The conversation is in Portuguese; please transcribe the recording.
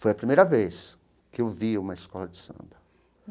Foi a primeira vez que eu vi uma escola de samba.